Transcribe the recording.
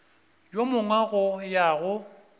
yo mongwe go ya go